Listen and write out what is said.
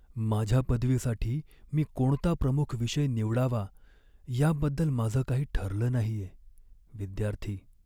माझ्या पदवीसाठी मी कोणता प्रमुख विषय निवडावा याबद्दल माझं काही ठरलं नाहीये. विद्यार्थी